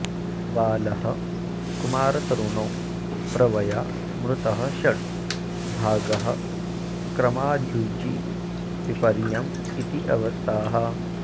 बालः कुमारतरुणौ प्रवया मृतः षड् भागः क्रमाद्युजि विपर्ययमित्यवस्थाः